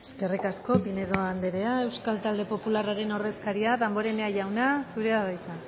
eskerrik asko pinedo anderea euskal talde popularraren ordezkaria damborenea jauna zurea da hitza